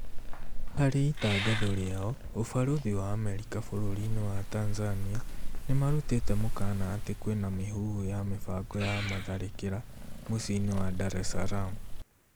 Hari itangatho rĩao, ũbarũthi wa Amerika bũrũri-inĩ wa Tanzania nĩmarutĩte mũkana atĩ kwĩna mĩhuhu ya mĩbango ya matharĩkĩra muciĩ-inĩ wa Dar es Salaam